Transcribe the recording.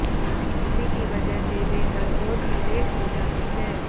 इसी की वजह से वे हररोज ही लेट हो जाते हैं